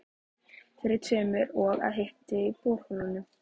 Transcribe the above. Fyrir kemur og að hiti í borholum á